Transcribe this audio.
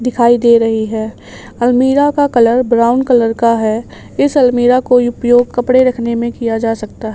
दिखाई दे रही है अलमीरा का कलर ब्राउन कलर का है इस अलमीरा को उपयोग कपड़े रखने में किया जा सकता--